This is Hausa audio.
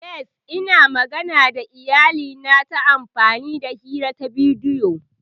Yes, Ina magana da iyalina ta amfani hira ta bidiyo.